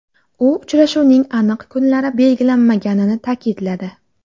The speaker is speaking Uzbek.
U uchrashuvning aniq kunlari belgilanmaganini ta’kidladi.